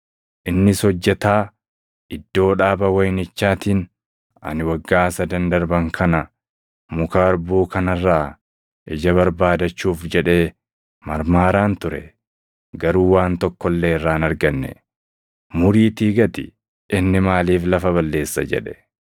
Innis hojjetaa iddoo dhaaba wayinichaatiin, ‘Ani waggaa sadan darban kana muka harbuu kana irraa ija barbaadachuuf jedhee marmaaraan ture; garuu waan tokko illee irraa hin arganne; muriitii gati! Inni maaliif lafa balleessa?’ jedhe.